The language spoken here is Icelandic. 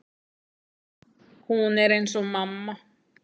Hún er eins og mamma.